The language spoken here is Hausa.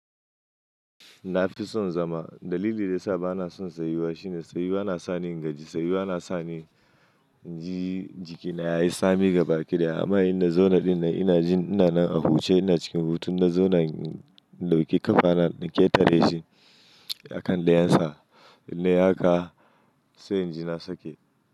Na fi son zama. Dalili da ya sa ba na son tsayuwa shine tsayuwa na sa ni ingaji, tsayuwa na sa ni jiki na yayi tsami gaba ɗaya amma idan na zauna ɗin nan ina jin ina nan a huce ina cikin hutun na zauna in ɗauki ƙafa na in ƙetare shi a kan da yansa in nai haka sai inji na sake.